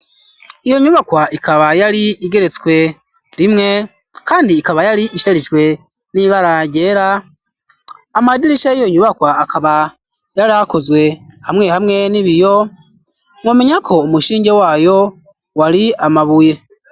Iyo nyubakwa ikaba yari igeretswe rimwe kandi ikaba yari isharijwe n'ibara ryera amadirisha yiyo nyubakwa akaba yarakozwe hamwe hamwe n'ibiyo mwomenya ko umushinge wayo wari amabuye